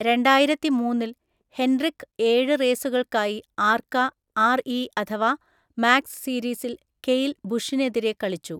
രണ്ടായിരത്തിമൂന്നിൽ, Hendrick ഏഴ് റേസുകൾക്കായി ARCA RE അഥവാ മാക്സ് സീരീസിൽ കെയ്ൽ ബുഷിനെതിരെ കളിച്ചു.